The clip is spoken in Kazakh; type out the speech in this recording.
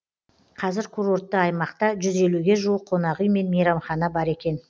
қазір курортты аймақта жүз елуге жуық қонақүй мен мейрамхана бар екен